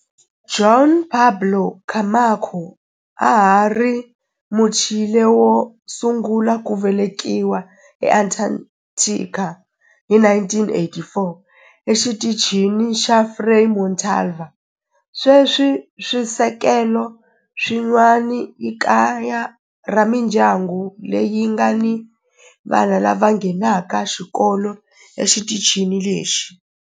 Juan Pablo Camacho a a ri Muchile wo sungula ku velekiwa eAntarctica hi 1984 eXitichini xa Frei Montalva. Sweswi swisekelo swin'wana i kaya ra mindyangu leyi nga ni vana lava nghenaka xikolo exitichini lexi.